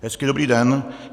Hezký dobrý den.